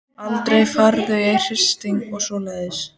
Aldrei farið í hringi og svoleiðis.